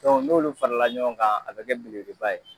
n'olu farala ɲɔgɔn kan a be kɛ belebele ba ye.